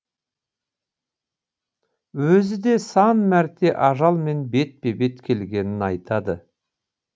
өзі де сан мәрте ажалмен бетпе бет келгенін айтады